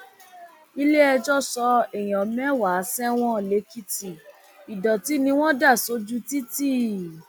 iléẹjọ sọ èèyàn mẹwàá sẹwọn lèkìtì ìdọtí ni wọn dà sójú títì